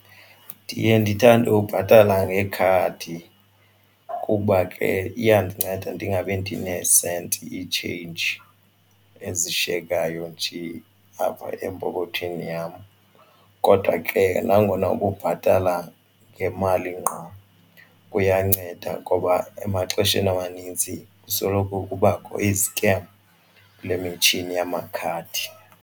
Ndiye ndithande ukubhatala ngekhadi kuba ke iyandinceda ndingabi ndineesenti itsheyinji ezishiyekayo nje apha empokothweni yam. Kodwa ke nangona ukubhatala ngemali ngqo kuyanceda ngoba emaxesheni amanintsi kusoloko kubakho izikem kule mitshini yamakhadi.